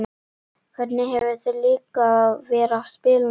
Hvernig hefur þér líkað að vera spilandi þjálfari?